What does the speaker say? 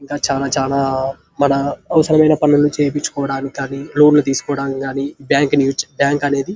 ఇంకా చాలా చాలా మన అవరమైన పనులు చెప్పిచుకోవడానికి కానీ లోన్ లు తీసుకోవడానికి కానీ బ్యాంకు ని బ్యాంకు అనేది--